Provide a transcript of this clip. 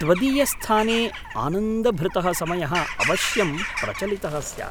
त्वदीयस्थाने आनन्दभृतः समयः अवश्यं प्रचलितः स्यात्।